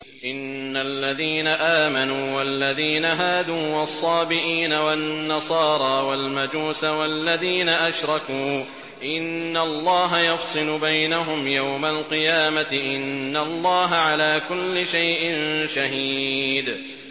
إِنَّ الَّذِينَ آمَنُوا وَالَّذِينَ هَادُوا وَالصَّابِئِينَ وَالنَّصَارَىٰ وَالْمَجُوسَ وَالَّذِينَ أَشْرَكُوا إِنَّ اللَّهَ يَفْصِلُ بَيْنَهُمْ يَوْمَ الْقِيَامَةِ ۚ إِنَّ اللَّهَ عَلَىٰ كُلِّ شَيْءٍ شَهِيدٌ